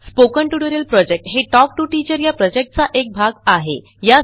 spoken tutorial project हे talk to teacher या प्रॉजेक्टचा एक भाग आहे